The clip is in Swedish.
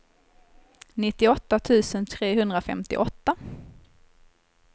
nittioåtta tusen trehundrafemtioåtta